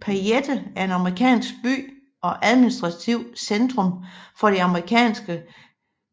Payette er en amerikansk by og administrativt centrum for det amerikanske